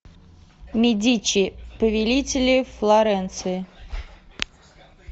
медичи повелители флоренции